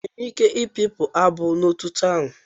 Enwere m ike i pipụ abụ no n'otito ahụ.